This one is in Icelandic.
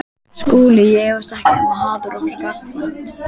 SKÚLI: Ég efast ekki um að hatur okkar er gagnkvæmt.